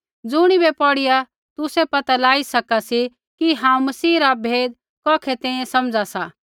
ज़ुणिबै पौढ़िया तुसै पता लाई सका सी कि हांऊँ मसीह रा भेद कौखै तैंईंयैं समझा सा